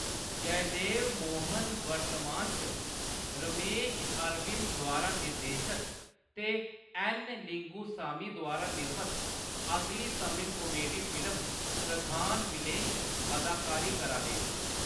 जयदेव मोहन वर्तमान च रमेश अरविंद द्वारा निर्देशत ते ऐन्न. लिंगुसामी द्वारा निर्मत अगली तमिल कामेडी फिल्म प्रधान विलेन च अदाकारी करा दे न।